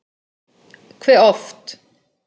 Hve oft?